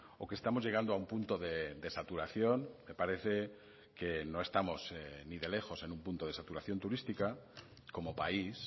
o que estamos llegando a un punto de saturación me parece que no estamos ni de lejos en un punto de saturación turística como país